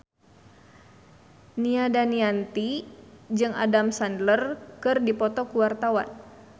Nia Daniati jeung Adam Sandler keur dipoto ku wartawan